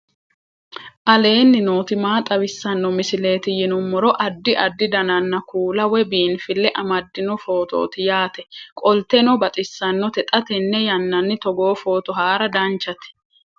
aleenni nooti maa xawisanno misileeti yinummoro addi addi dananna kuula woy biinfille amaddino footooti yaate qoltenno baxissannote xa tenne yannanni togoo footo haara danchate